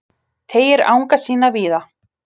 Teygir anga sína víða